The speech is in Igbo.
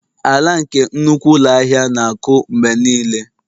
Ala nke nnukwu ụlọ ahịa na-akụ mgbe niile